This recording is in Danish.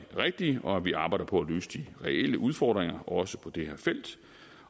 rigtige og at vi arbejder på at løse de reelle udfordringer også på det her felt